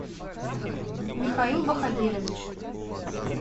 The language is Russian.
михаил баходирович